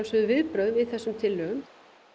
viðbrögð við þessum tillögum